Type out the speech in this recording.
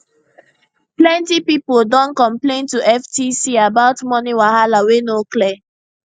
plenty pipo don complain to ftc about money wahala wey no clear